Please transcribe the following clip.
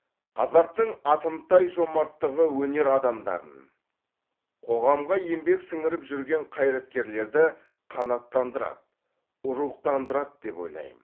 қазақтың атымтай жомарттығы өнер адамдарын қоғамға еңбек сіңіріп жүрген қайраткерлерді қанаттандырады рухтандырады деп ойлаймын